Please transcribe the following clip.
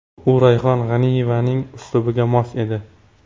U Rayhon G‘aniyevaning uslubiga mos edi.